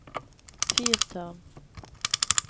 fyrtårn